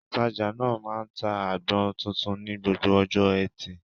Òtajà náà máa ń ta àgbọn tuntun ní gbogbo ọjọ́ Ẹtì.